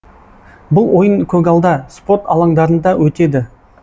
бұл ойын көгалда спорт алаңдарында өтеді